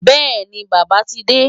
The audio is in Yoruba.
Bẹ́ẹ̀ni, Bàbá ti dé.